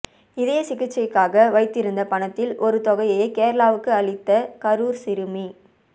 இதய சிகிச்சைக்காக வைத்திருந்த பணத்தில் ஒரு தொகையை கேரளாவுக்கு அளித்த கரூர் சிறுமி